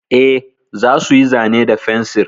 E, za su yi zane da fensir.